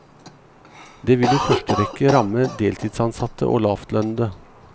Det vil i første rekke ramme deltidsansatte og lavtlønnede.